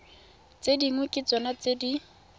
tse dingwe ke tsona di